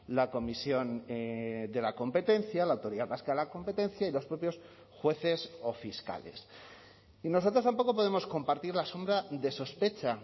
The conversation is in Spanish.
la comisión de la competencia la autoridad vasca de la competencia y los propios jueces o fiscales y nosotros tampoco podemos compartir la sombra de sospecha